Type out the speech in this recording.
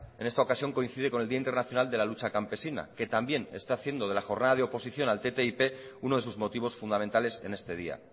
en esta ocasión coincide con el día internacional de la lucha campesina que también está haciendo de la jornada de oposición al ttip uno de sus motivos fundamentales en este día